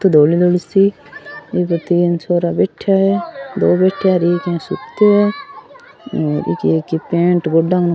धोली धोली सी क इ पर तीन छोरा बैठिया है दो बैठिया है और एक इया सूत्यो है और इकी एक पेंट गोडोउ --